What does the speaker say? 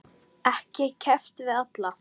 Ekki keppt við alla?